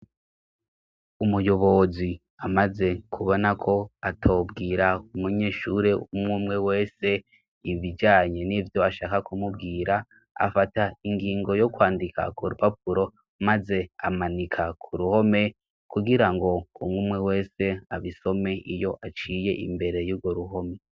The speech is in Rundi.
Umuyobozi amaze kubona ko atobwira umunyeshure umwumwe wese ibijanye n'ivyo ashaka kumubwira, afata ingingo yo kwandika ku rupapuro maze amanika ku ruhome kugira ngo umwumwe wese abisome iyo aciye imbere y'urwo ruhome.